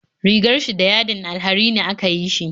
Rigar shi da yadin alharini aka yi shi